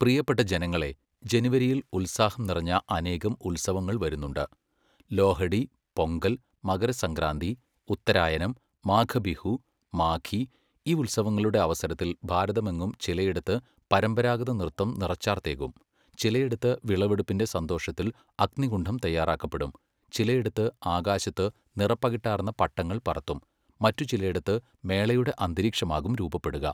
പ്രിയപ്പെട്ട ജനങ്ങളേ, ജനുവരിയിൽ ഉത്സാഹം നിറഞ്ഞ അനേകം ഉത്സവങ്ങൾ വരുന്നുണ്ട്, ലോഹഡി, പൊങ്കൽ , മകരസംക്രാന്തി, ഉത്തരായനം, മാഘബിഹു, മാഘീ, ഈ ഉത്സവങ്ങളുടെ അവസരത്തിൽ ഭാരതമെങ്ങും ചിലയിടത്ത് പരമ്പരാഗത നൃത്തം നിറച്ചാർത്തേകും, ചിലയിടത്ത് വിളവെടുപ്പിന്റെ സന്തോഷത്തിൽ അഗ്നികുണ്ഡം തയ്യാറാക്കപ്പെടും, ചിലേടത്ത് ആകാശത്ത് നിറപ്പകിട്ടാർന്ന പട്ടങ്ങൾ പറത്തും, മറ്റു ചിലേടത്ത് മേളയുടെ അന്തരീക്ഷമാകും രൂപപ്പെടുക.